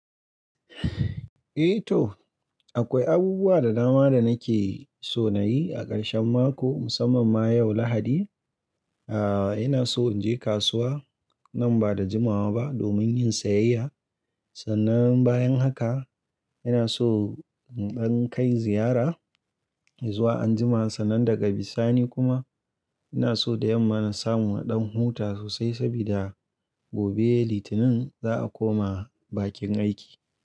Eh toh, akwai abubuwa da dama da nake so na yi a karshen mako musamman ma yau Lahadi. Aaa ina so in je kasuwa nan ba da jimawa ba domin yin sayayya. Sannan bayan haka ina so in kai ziyara izuwa anjima. Sannan daga bisani kuma ina so da yamma na samu waɗansu huta sosai saboda gobe Litinin za a koma bakin aiki.